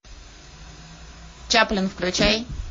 чаплин включай